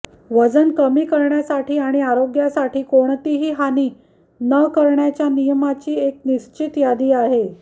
वजन कमी करण्यासाठी आणि आरोग्यासाठी कोणतीही हानी न करण्याच्या नियमाची एक निश्चित यादी आहे